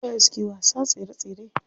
Su waye suke wasa tsere tsere?